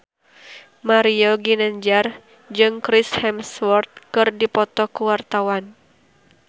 Mario Ginanjar jeung Chris Hemsworth keur dipoto ku wartawan